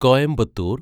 Coimbatore